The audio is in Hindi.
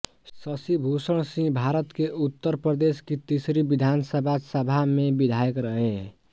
शशिभूषण सिंहभारत के उत्तर प्रदेश की तीसरी विधानसभा सभा में विधायक रहे